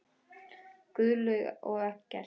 Guðlaug og Eggert.